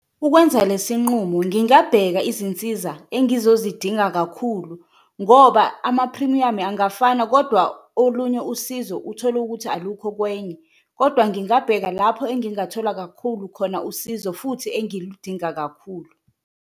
Ukwenza lesi nqumo ngingabheka izinsiza engizozidinga kakhulu ngoba amaphrimiyamu angafani kodwa olunye usizo uthole ukuthi alukho kwenye, kodwa ngingabheka lapho engingathola kakhulu khona usizo futhi engiludinga kakhulu.